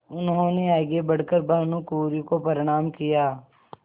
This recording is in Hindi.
उन्होंने आगे बढ़ कर भानुकुँवरि को प्रणाम किया